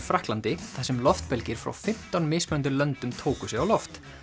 Frakklandi þar sem loftbelgir frá fimmtán mismunandi löndum tóku sig á loft